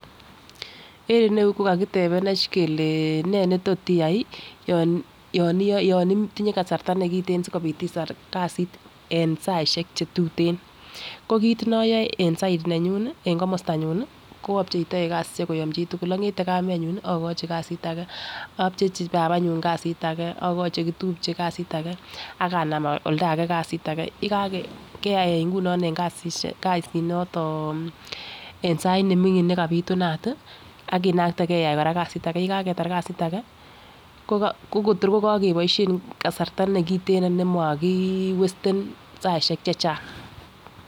En iroyuu ko kakitebenech kelee nee netot iyai yon itinye kasarta kiten sikopit itar kasit en saishek chetuten ko kit noyoe en side nenyun en komostanyun nii ko obcheitoi kasishek koyom chitukul ongete kamenyun okochi kasit age obchechi babanyun kasit age okoi chekitupche kasit age ak anam oldage kasit age. Keyai ingunon kasit noton en sait nemingin nekapitunan tii akinakte keyai kasit age, yekaketar kasit age ko Kotor ko kikeboishen kasarta nekiten nemokiwesten saishek chechang.